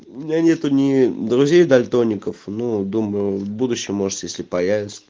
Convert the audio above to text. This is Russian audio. у меня нету ни друзей дальтоников ну думаю в будущем может если появятся